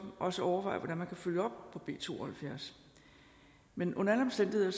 også overveje hvordan man kan følge op på b to og halvfjerds men under alle omstændigheder